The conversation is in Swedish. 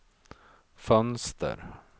fönster